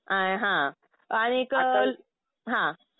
आ हा. आणि एक हा